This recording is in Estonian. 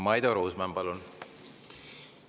Maido Ruusmann, palun!